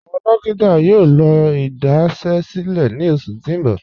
Awọn dòkítà yóò lọ́ idasẹ̀sílẹ̀ ní ọṣù tí n bọ̀.